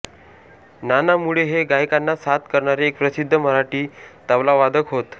नाना मुळे हे गायकांना साथ करणारे एक प्रसिद्ध मराठी तबलावादक होत